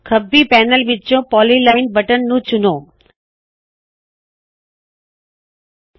ਖੱਬੀ ਪੈਨਲ ਵਿੱਚੋ polyline button polyline button ਨੂੰ ਚੁਣੋ